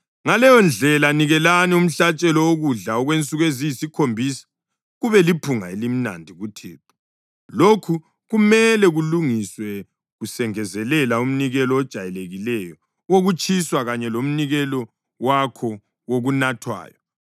Ngaleyondlela nikelani umhlatshelo wokudla okwensuku eziyisikhombisa kube liphunga elimnandi kuThixo; lokhu kumele kulungiswe kusengezelela umnikelo ojayelekileyo wokutshiswa kanye lomnikelo wakho wokunathwayo.